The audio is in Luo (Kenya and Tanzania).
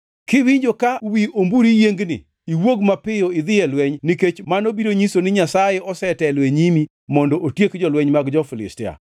Kiwinjo ka wi omburi yiengni, iwuog mapiyo idhi e lweny nikech mano biro nyiso ni Nyasaye osetelo e nyimi mondo otiek jolweny mag jo-Filistia.”